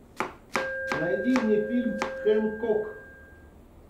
найди мне фильм хэнкок